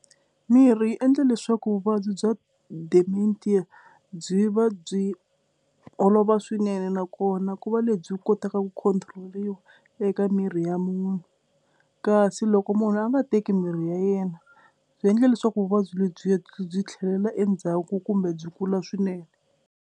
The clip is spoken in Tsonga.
Mirhi yi endla leswaku vuvabyi bya dimentia byi va byi olova swinene nakona ku va lebyi kotaka ku control-iwa eka miri ya munhu kasi loko munhu a nga teki mirhi ya yena byi endle leswaku vuvabyi lebyi byi tlhelela endzhaku kumbe byi kula swinene.